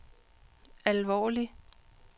alvorlig